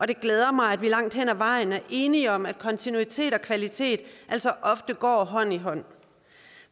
det glæder mig at vi langt hen ad vejen er enige om at kontinuitet og kvalitet altså ofte går hånd i hånd